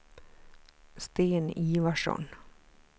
Sten Ivarsson